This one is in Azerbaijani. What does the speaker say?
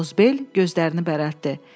Qozbel gözlərini bərələtdi.